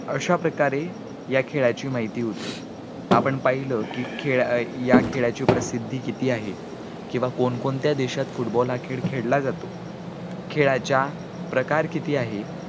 तर अश्या प्रकारे या खेळाची माहिती होती आपण पाहिलं कि खेळ, या खेळाची प्रसिद्धी किती आहे, किंवा कोणकोणत्या देशात football हा खेळ खेळला जातो खेळाचा प्रकार किती आहे